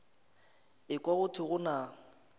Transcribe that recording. ekwa go thwe go na